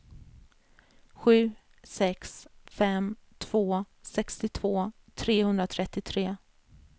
sju sex fem två sextiotvå trehundratrettiotre